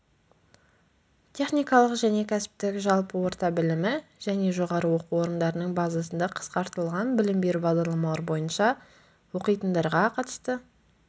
техникалық және кәсіптік жалпы орта білімі және жоғары оқу орындарының базасында қысқартылған білім беру бағдарламалары бойынша оқитындарға қатысты